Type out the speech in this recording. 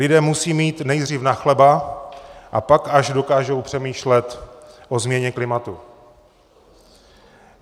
Lidé musí mít nejdřív na chleba, a pak až dokážou přemýšlet o změně klimatu.